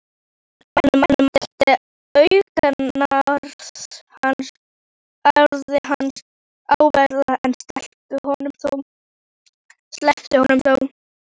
Hún mætti augnaráði hans, ævareið, en sleppti honum þó.